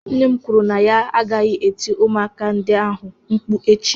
Nne m kwuru na ya agaghị eti ụmụaka ndị ahụ mkpu echi.